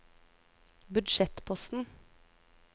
budsjettposten